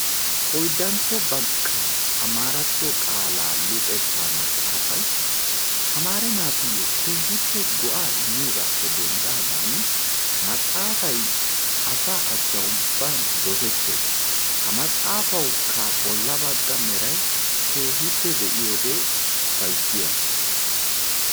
Oyddantto bakkaa amaaratto qaala luxetta maxaafay tamare naatuyyo keehippe go"a immiyoogappe denddaagan ha maxaafay asa achcha ubban dossetees. Ha maxaafawukka bolla baggaa meray keehippe be'iyoode upayssiyaaga.